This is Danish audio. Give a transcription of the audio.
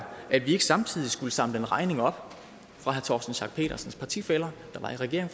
at vi ikke samtidig skulle samle den regning op fra herre torsten schack pedersens partifæller der var i regering